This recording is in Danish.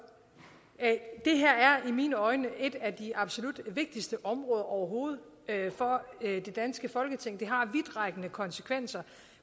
det her er set mine øjne et af de absolut vigtigste områder overhovedet for det danske folketing det har vidtrækkende konsekvenser